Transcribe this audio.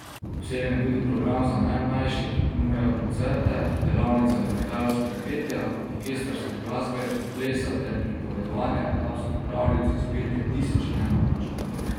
Obsežen je tudi program za najmlajše, ki ponuja koncerte, delavnice orientalskega petja, orkestrske glasbe in plesa ter pripovedovanje arabskih pravljic iz zbirke Tisoč in ena noč.